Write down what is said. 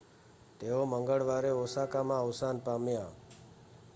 તેઓ મંગળવારે ઓસાકામાં અવસાન પામ્યા